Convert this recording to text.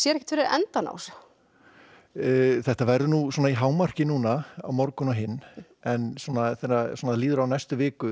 ekkert fyrir endann á þessu þetta verður í hámarki núna á morgun og hinn en í næstu viku